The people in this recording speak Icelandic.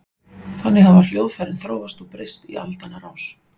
Þannig hafa hljóðfærin þróast og breyst í aldanna rás.